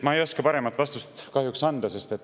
Ma ei oska paremat vastust kahjuks anda.